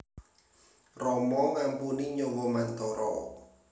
Rama ngampuni nyawa Mantara